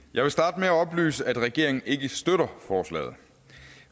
jeg vil starte med at oplyse at regeringen ikke støtter forslaget